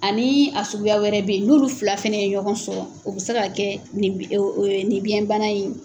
Ani a suguya wɛrɛ bɛyi n'olu fila fana ye ɲɔgɔn sɔrɔ o bɛ se ka kɛ nin biyɛnbana in ye.